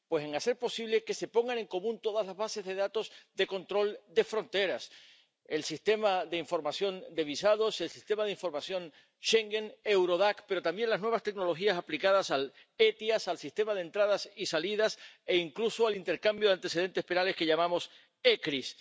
Pues en hacer posible que se pongan en común todas las bases de datos de control de fronteras el Sistema de Información de Visados, el Sistema de Información de Schengen, Eurodac, pero también las nuevas tecnologías aplicadas al ETIAS, al Sistema de Entradas y Salidas e incluso al intercambio de información sobre antecedentes penales, que llamamos ECRIS.